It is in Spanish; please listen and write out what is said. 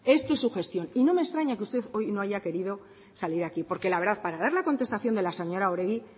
esto es su gestión y no me extraña que usted hoy no haya querido salir aquí porque la verdad para dar la contestación de la señora oregi